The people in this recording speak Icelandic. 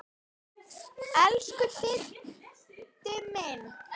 Elsku Diddi minn.